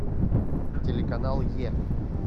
телеканал е